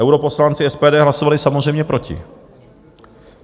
Europoslanci SPD hlasovali samozřejmě proti.